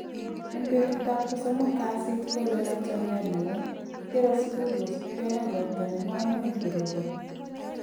En betutab kosomok kasit kogole laitoriat newon kigere Sugul kosibken ak ropta nemomuny koroboni.